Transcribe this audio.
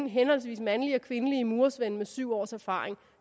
henholdsvis mandlige og kvindelige murersvende med syv års erfaring